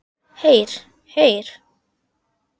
Heyr, heyr.